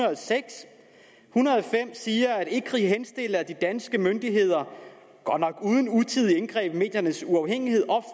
hundrede og fem siger at ecri henstiller at de danske myndigheder godt nok uden utidige indgreb i mediernes uafhængighed